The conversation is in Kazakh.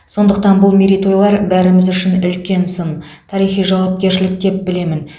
сондықтан бұл мерейтойлар бәріміз үшін үлкен сын тарихи жауапкершілік деп білемін